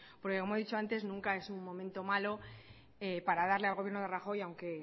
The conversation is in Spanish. porque como he dicho antes nunca es un momento malo para darle al gobierno de rajoy aunque